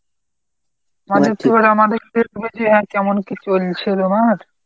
কেমন কী চলছে তোমার?